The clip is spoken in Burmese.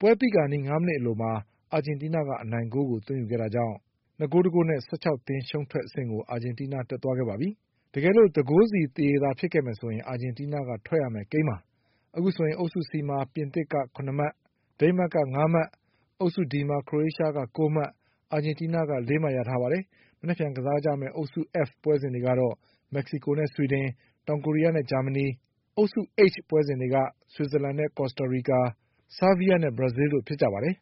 ပွဲပြီးခါနီး၅မိနစ်အလိုမှာ အာဂျင်တီးနားက အနိုင်ဂိုးကို သွင်းယူနိုင်ခဲ့တာကြောင့် ၂ဂိုး ၁ဂိုးနဲ့ အာဂျင်တီးနား ၁၆သင်းရှုံး ထွက်အဆင့်ကို တက်သွားခဲ့ပါပြီ။ တကယ်လို့ ၁ဂိုးစီသရေ ကစားခဲ့မယ်ဆိုရင် အာဂျင်တီးနားကထွက်ရမယ့်ကိန်းပါ။ အခု ဆိုရင် အုပ်စုCမှာ ပြင်သစ်က ၇မှတ်၊ ဒိန်းမတ်က ၅မှတ်၊ အုပ်စု Dမှာ ခရိုအေးရှားက ၉မှတ်၊ အာဂျင်တီးနားက ၄မှတ်ရ ထားပါတယ်။ မနက်ဖြန်ကစားကြမယ့် အုပ်စုF ပွဲစဉ်တွေကတော့ မက္ကစီကိုနဲ့ ဆွီဒင်၊ တောင်ကိုရီးယားနဲ့ ဂျာမဏီ၊ အုပ်စု H ပွဲစဉ်တွေက ဆွီဇာလန်နဲ့ ကော်စတာရီကာ၊ ဆားဗီးယားနဲ့ ဘရာဇီးလ်တို့ဖြစ်ကြပါတယ်